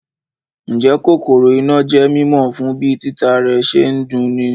Ǹjẹ́ kòkòrò iná jẹ́ mímọ̀ fún bí títa rẹ̀ ṣe ń dun'ni